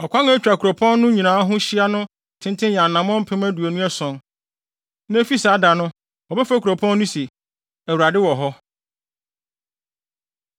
“Ɔkwan a etwa kuropɔn no nyinaa ho hyia no tenten yɛ anammɔn mpem aduonu ason (27,000). “Na efi saa da no, wɔbɛfrɛ kuropɔn no se, ‘ Awurade Wɔ Hɔ.’ ”